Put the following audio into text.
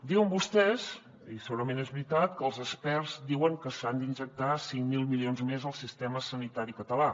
diuen vostès i segurament és veritat que els experts diuen que s’han d’injectar cinc mil milions més al sistema sanitari català